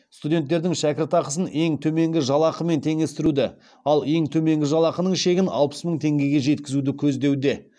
студенттердің шәкіртақысын ең төменгі жалақымен теңестіруді ал ең төменгі жалақының шегін алпыс мың теңгеге жеткізуді көздеуде